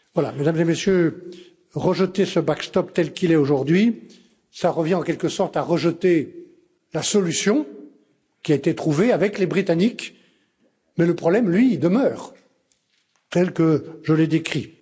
Mesdames et Messieurs, rejeter ce backstop tel qu'il est aujourd'hui, cela revient en quelque sorte à rejeter la solution qui a été trouvée avec les Britanniques, mais le problème, lui, demeure, tel que je l'ai décrit.